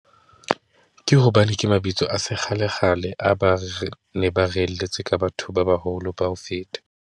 Ke hobane ke mabitso a sekgalekgale, a ba re ne ba re reelletse ka batho ba baholo ka ho feta.